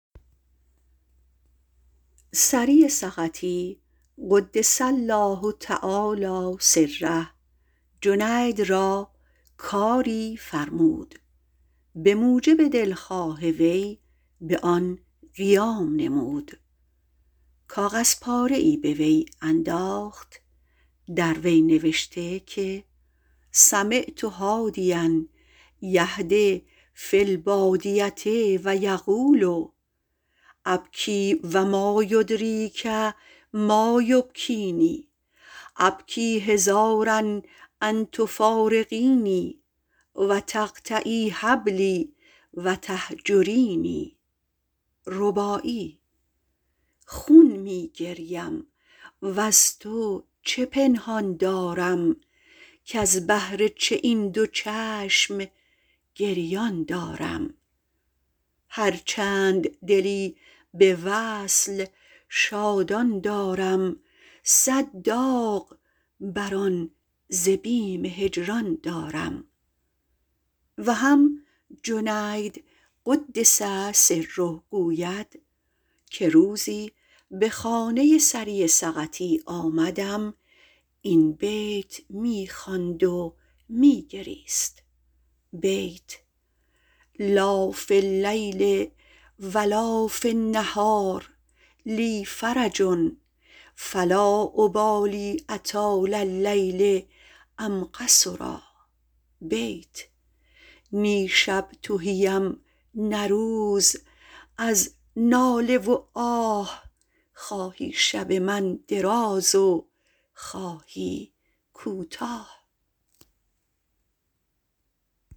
سری سقطی - قدس الله تعالی سره - جنید را کاری فرمود و به موجب دلخواه وی به آن قیام نموده کاغذپاره ای به وی انداخت در وی نوشته که سمعت حادیا یحد فی البادیة یقول ابکی و مایدریک ما یبکینی ابکی حذار ان تفارقینی و تقطعی حبلی و تهجرینی می گوید خون می گریم از تو چه پنهان دارم کز بهر تو این دو چشم گریان دارم هر چند دلی ز وصل شادان دارم صد داغ بر آن ز بیم هجران دارم و هم - جنید قدس سره - گوید که روزی به خانه سری درآمدم این بیت می خواند و می گریست لا فی النهار و لا فی اللیل لی فرح فلا ابالی أطال اللیل ام قصرا نی شب تهی ام نه روز از ناله و آه خواهی شب من دراز خواهی کوتاه